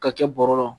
Ka kɛ bɔrɔ la